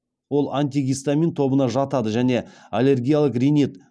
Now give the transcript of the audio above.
ол антигистамин тобына жатады және аллергиялық ринит